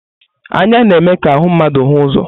Anya na-eme ka ahụ mmadụ hụ ụzọ.